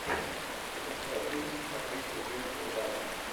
запускай фильм с актрисой дженнифер гарнер